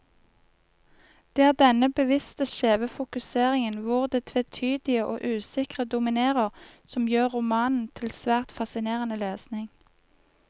Det er denne bevisst skjeve fokuseringen, hvor det tvetydige og usikre dominerer, som gjør romanen til svært fascinerende lesning.